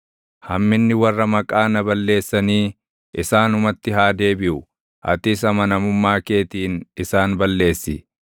Hamminni warra maqaa na balleessanii isaanumatti haa deebiʼu; atis amanamummaa keetiin isaan balleessi.